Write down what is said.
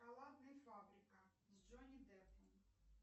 шоколадная фабрика с джонни деппом